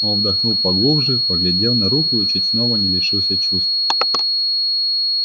он вдохнул поглубже поглядел на руку и чуть снова не лишился чувств